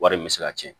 Wari in bɛ se ka cɛn